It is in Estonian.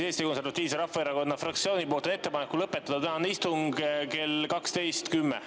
Eesti Konservatiivse Rahvaerakonna fraktsioonil on ettepanek lõpetada istung kell 12.10.